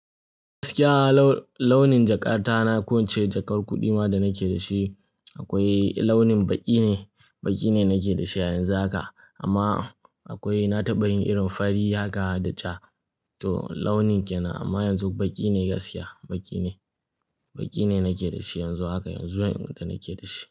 Gaskiya launin jakata na, ko wacce jakar kuɗi ma da nake da shi akwai launin baƙi ne, baƙi ne nake da shi a yanzu haka. Amma akwai na taɓa yin irin fari haka da ja to launin kenan amma yanzu baƙi ne gaskiya, baƙi ne, baƙi ne nake da shi yanzu haka yanzu da nake da shi.